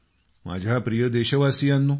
माझ्या प्रिय देशवासीयांनो